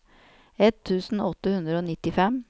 ett tusen åtte hundre og nittifem